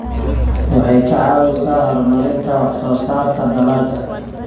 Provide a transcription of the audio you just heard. Waxay ka caawisaa horumarinta wax-soo-saarka dalagga.